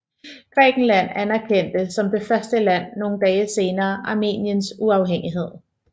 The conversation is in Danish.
Grækenland anerkendte som det første land nogle dage senere Armeniens uafhængighed